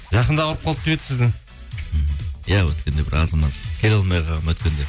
жақында ауырып қалды деп еді сізді иә өткенде бір аз маз келе алмай қалғанмын өткенде